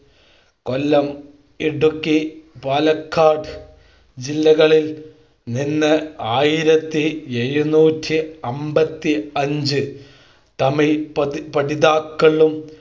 കൊല്ലം ഇടുക്കി പാലക്കാട് ജില്ലകളിൽ നിന്ന് ആയിരത്തി എഴുനൂറ്റി അമ്പത്തി അഞ്ച് തമിഴ് പഠിതാക്കളും